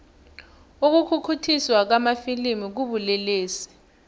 ukukhukhuthiswa kwamafilimu kubulelesi